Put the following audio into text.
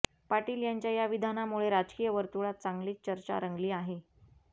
पाटील यांच्या या विधानामुळे राजकीय वर्तुळात चांगलीच चर्चा रंगली आहे